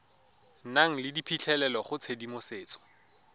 nang le phitlhelelo go tshedimosetso